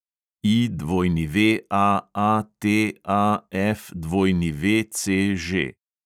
IWAATAFWCŽ